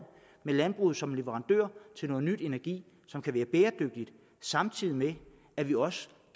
med landbruget som leverandør til ny energi som kan være bæredygtig samtidig med at vi også